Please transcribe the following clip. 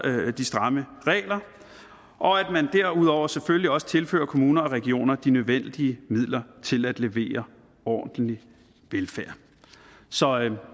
de stramme regler og at man derudover selvfølgelig også tilfører kommuner og regioner de nødvendige midler til at levere ordentlig velfærd så